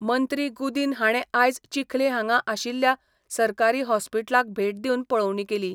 मंत्री गुदीन हाणें आयज चिखले हांगा आशिल्ल्या सरकारी हॉस्पिटलाक भेट दिवन पळोवणी केली.